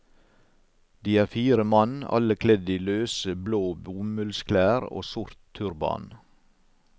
De er fire mann, alle kledd i løse, blå bomullsklær og sort turban.